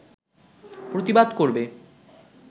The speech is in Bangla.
প্রতিবাদ করবে